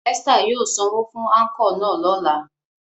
Esther yóò sanwo fun anko náa lọla.